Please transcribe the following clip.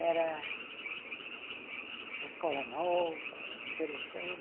Era uma escola nova, interessante.